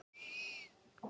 Logn og léttur úði.